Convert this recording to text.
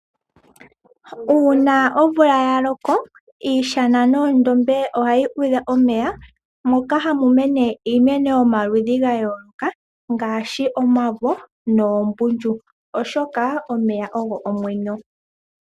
Uuna omvula ya loko iishana noondombe ohadhi udha omeya. Moka hamu mene iimeno yomaludhi ga yooloka . Ngaashi omavo noombundu oshoka omeya ogo omwenyo.